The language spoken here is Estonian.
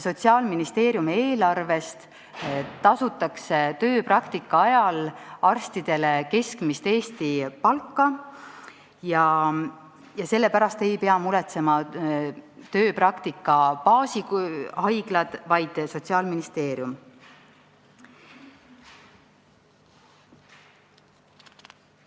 Sotsiaalministeeriumi eelarvest makstakse neile arstidele tööpraktika ajal Eesti keskmist palka ja selle pärast ei pea muretsema tööpraktika baashaiglad, vaid seda teeb Sotsiaalministeerium.